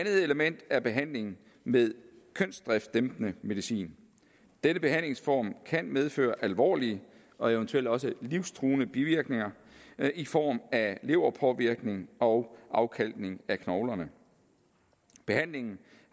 element er behandling med kønsdriftsdæmpende medicin denne behandlingsform kan medføre alvorlige og eventuelt også livstruende bivirkninger i form af leverpåvirkninger og afkalkning af knoglerne behandlingen